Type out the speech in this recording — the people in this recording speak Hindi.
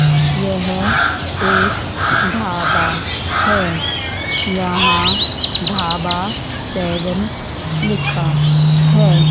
यह एक ढाबा है यहां ढाबा सेवेन लिखा है।